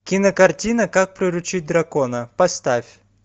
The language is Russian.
кинокартина как приручить дракона поставь